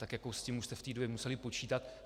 Tak s tím už jste v té době museli počítat.